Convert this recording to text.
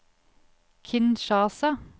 Kinshasa